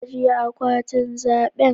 Ajiye akwatin zaɓe.